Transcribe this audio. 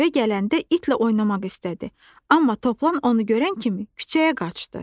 Evə gələndə itlə oynamaq istədi, amma toplan onu görən kimi küçəyə qaçdı.